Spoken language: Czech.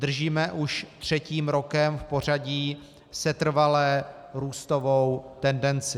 Držíme už třetím rokem v pořadí setrvale růstovou tendenci.